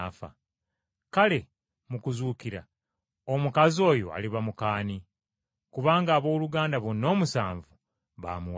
Kale mu kuzuukira omukazi oyo aliba muka ani? Kubanga abooluganda bonna omusanvu yabafumbirwako!”